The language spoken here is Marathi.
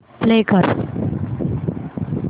प्ले कर